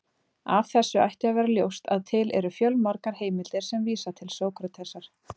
Af þessu ætti að vera ljóst að til eru fjölmargar heimildir sem vísa til Sókratesar.